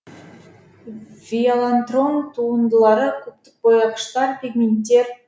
виолантрон туындылары кубтық бояғыштар пигменттер